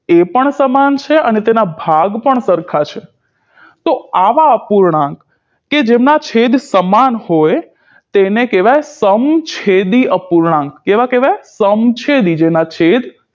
તે પણ સમાન છે તેના ભાગ પણ સરખા છે તો આવા અપૂર્ણાંક કે જેમના છેદ સમાન હોય તેને કહેવાય સમછેદી અપૂર્ણાંક કેવા કહેવાય સમછેદી જેના છેદ